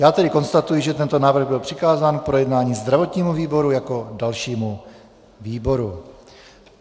Já tedy konstatuji, že tento návrh byl přikázán k projednání zdravotnímu výboru jako dalšímu výboru.